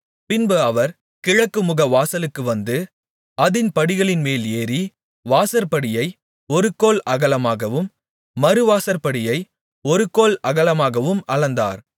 பின்பு அவர் கிழக்குமுகவாசலுக்கு வந்து அதின் படிகளின்மேல் ஏறி வாசற்படியை ஒரு கோல் அகலமாகவும் மறுவாசற்படியை ஒரு கோல் அகலமாகவும் அளந்தார்